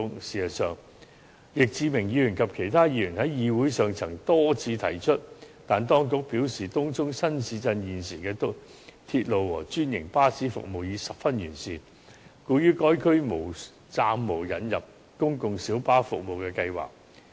事實上，易志明議員及其他議員在議會上曾多次提出這建議，但當局表示，東涌新市鎮現時的鐵路和專營巴士服務已十分完善，故於該區暫無引入公共小巴服務的計劃。